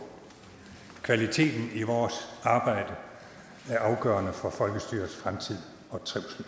kvaliteten i vores arbejde er afgørende for folkestyrets fremtid og trivsel